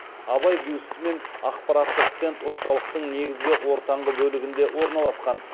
абай бюсті мен ақпараттық стенд орталықтың негізгі ортаңғы бөлігінде орналасқан